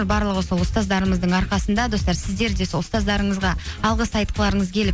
барлығы сол ұстаздарымыздың арқасында достар сіздер де сол ұстаздарыңызға алғыс айтқыларыңыз келіп